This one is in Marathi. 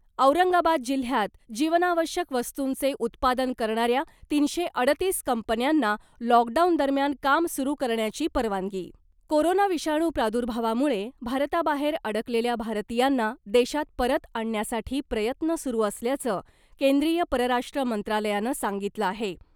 औरंगाबाद जिल्ह्यात जीवनावश्यक वस्तूंचे उत्पादन करणाऱ्या तीनशे अडतीस कंपन्यांना लॉकडाऊन दरम्यान काम सुरू करण्याची परवानगी कोरोना विषाणू प्रादुर्भावामुळे भारताबाहेर अडकलेल्या भारतीयांना देशात परत आणण्यासाठी प्रयत्न सुरू असल्याचं केंद्रीय परराष्ट्र मंत्रालयानं सांगितलं आहे .